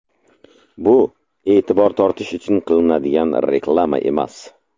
Bu e’tibor tortish uchun qilinadigan reklama emas.